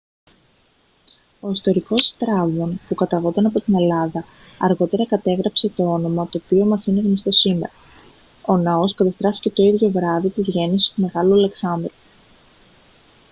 ο ιστορικός στράβων που καταγόταν από την ελλάδα αργότερα κατέγραψε το όνομα το οποίο μας είναι γνωστό σήμερα ο ναός καταστράφηκε το ίδιο βράδυ της γέννησης του μεγάλου αλεξάνδρου